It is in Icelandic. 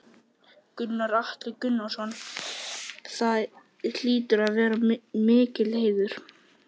Gunnar Atli Gunnarsson: Það hlýtur að vera mikill heiður?